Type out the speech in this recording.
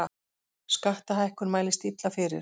Skattahækkun mælist illa fyrir